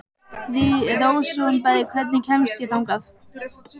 Rósinberg, hvernig kemst ég þangað?